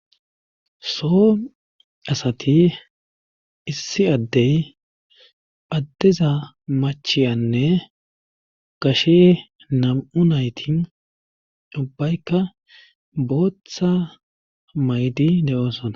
so asati issi addey phaddiza machiyanne gashe nam7u naytin ubbaykka booththa maydi de7oosona